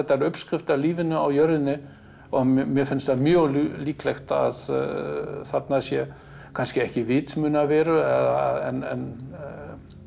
uppskrift að lífinu á jörðinni mér finnst það mjög líklegt að þarna sé kannski ekki vitsmunaverur en